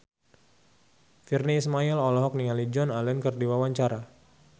Virnie Ismail olohok ningali Joan Allen keur diwawancara